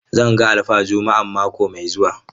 Zan ga alfa Juma'an mako mai zuwa.